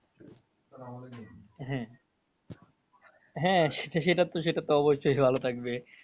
হ্যাঁ হ্যাঁ সেটা তো সেটা তো অবশ্যই ভালো থাকবে।